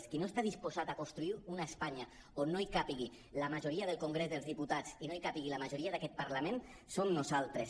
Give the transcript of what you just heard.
qui no està disposat a construir una espanya on no hi càpiga la majoria del congrés dels diputats i no hi càpiga la majoria d’aquest parlament som nosaltres